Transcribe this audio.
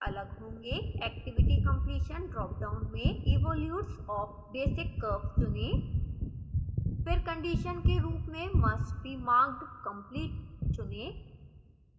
activity completion dropdown में evolutes of basic curve चुनें